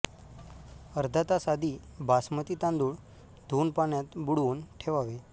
अर्धा तास आधी बासमती तांदूळ धुऊन पाण्यात बुडवून ठेवावे